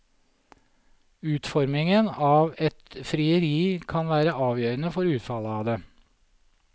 Utformingen av et frieri kan være avgjørende for utfallet av det.